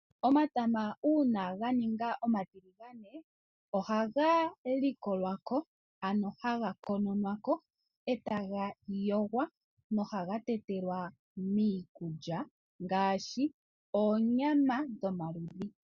Omatama uuna ga ninga omatiligane ohaga likolwa ko, ano haga kononwa ko e ta ga yogwa nohaga tetelwa miikulya ngaashi oonyama dhomaludhi.